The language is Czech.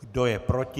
Kdo je proti?